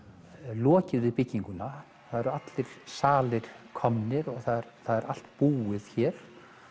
lokið við bygginguna það eru allir salir komnir og það er allt búið hér